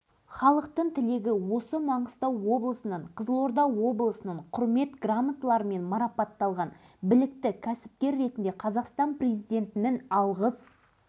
байқоңыр ғарыш айлағында маңғыстау түбегінде жаңаөзен қаласында әртүрлі сала қызметкерін басқара жүріп жеткен жетістіктерді өз алдына бір төбе